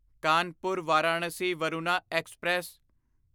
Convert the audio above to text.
Kanpur Varanasi Varuna express